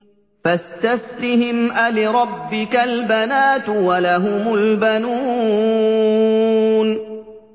فَاسْتَفْتِهِمْ أَلِرَبِّكَ الْبَنَاتُ وَلَهُمُ الْبَنُونَ